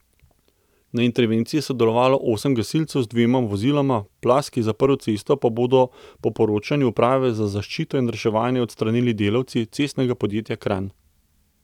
Na intervenciji je sodelovalo osem gasilcev z dvema voziloma, plaz ki je zaprl cesto, pa bodo po poročanju Uprave za zaščito in reševanje odstranili delavci Cestnega podjetja Kranj.